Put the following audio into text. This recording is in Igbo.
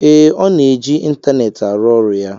ee, ọ na-eji ịntaneetị arụ ọrụ ya